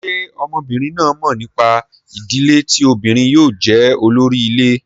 Ṣé ọmọbìnrin náà mọ̀ nípa ìdílé tí obìnrin yóò jẹ́ olórí ilé?